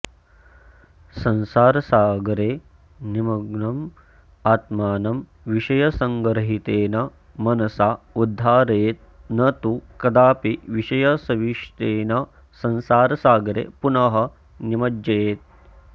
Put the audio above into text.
संसारसागरे निमग्नम् आत्मानं विषयसङ्गरहितेन मनसा उद्धारयेत् न तु कदापि विषयसविशिष्टेन संसारसागरे पुनः निमज्जयेत्